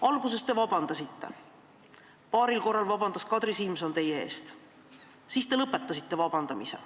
Alguses te palusite vabandust, paaril korral tegi Kadri Simson seda teie eest, hiljem te lõpetasite vabanduse palumise.